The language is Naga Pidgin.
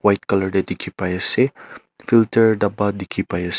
colour te dikhi pai ase filter daba dikhi pai ase.